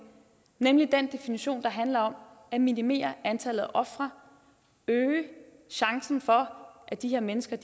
nemlig den definition der handler om at minimere antallet af ofre øge chancen for at de her mennesker